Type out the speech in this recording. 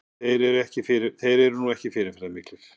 Þeir eru nú ekki fyrirferðarmiklir